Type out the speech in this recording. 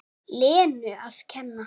Lenu að kenna.